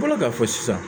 Bɔla ka fɔ sisan